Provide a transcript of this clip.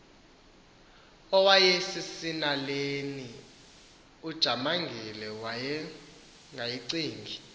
awayesesinaleni ujamangile wayengayicingi